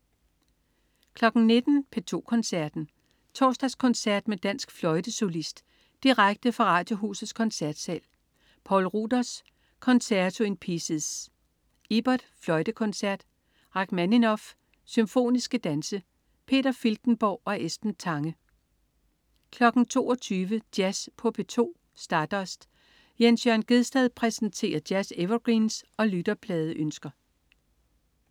19.00 P2 Koncerten. Torsdagskoncert med dansk fløjtesolist. Direkte fra Radiohusets koncertsal. Poul Ruders: Concerto in Pieces. Ibert: Fløjtekoncert. Rakhmaninov: Symfoniske danse. Peter Filtenborg og Esben Tange 22.00 Jazz på P2. Stardust. Jens Jørn Gjedsted præsenterer jazz-evergreens og lytterpladeønsker